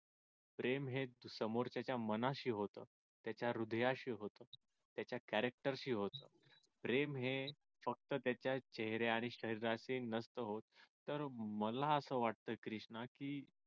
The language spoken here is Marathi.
प्रेम हे समोरच्याच्या मनाशी होत त्याच्या हृदयाशी होत त्याच्या character शी होत प्रेम हे फक्त त्याच्या चेहऱ्या आणि शरीराचे नसत होत तर मला असं वाटत क्रिष्णा की